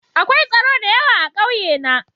Akwai tsoro da yawa a ƙauye na.